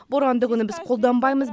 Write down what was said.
боранды күні біз қолданбаймыз